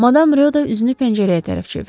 Madam Röda üzünü pəncərəyə tərəf çevirdi.